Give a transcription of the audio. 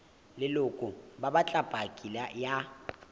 leloko ba batla paki ya